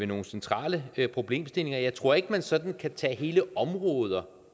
nogle centrale problemstillinger jeg tror ikke at man sådan kan tage hele områder